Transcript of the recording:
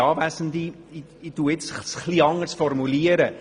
Ich formuliere es nun ein wenig anders.